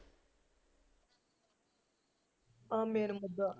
ਆ ਦਾ